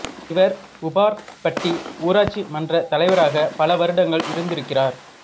இவர் உப்பார்பட்டி ஊராட்சி மன்றத் தலைவராக பல வருடங்கள் இருந்திருக்கிறார்